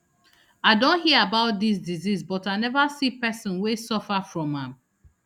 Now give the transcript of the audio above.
i don hear about dis disease but i neva see pesin wey suffer from am